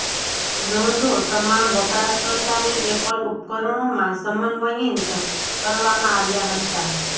નોંધો તમામ વપરાશકર્તાની એપલ ઉપકરણોમાં સમન્વયિત કરવામાં આવ્યાં હતાં